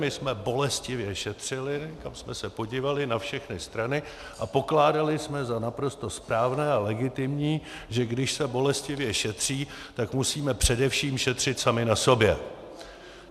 My jsme bolestivě šetřili, kam jsme se podívali, na všechny strany, a pokládali jsme za naprosto správné a legitimní, že když se bolestivě šetří, tak musíme především šetřit sami na sobě.